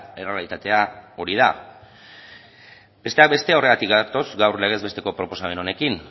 errealitatea hori da besteak beste horregatik gatoz gaur legez besteko proposamen honekin